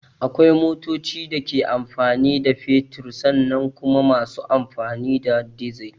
Akwai motan da ke amfani da fetur sannan kuma masu amfani da dizal